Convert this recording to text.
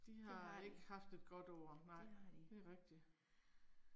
De har ikke haft et godt år nej, det er rigtigt